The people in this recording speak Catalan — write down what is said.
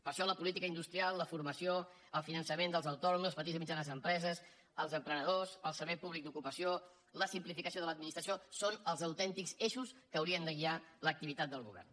per això la política industrial la formació el finançament dels autònoms les petites i mitjanes empreses els emprenedors el servei públic d’ocupació la simplificació de l’administració són els autèntics eixos que haurien de guiar l’activitat del go·vern